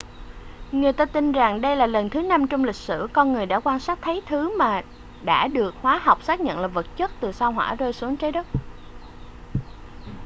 người ta tin rằng đây là lần thứ năm trong lịch sử con người đã quan sát thấy thứ mà đã được hóa học xác nhận là vật chất từ sao hỏa rơi xuống trái đất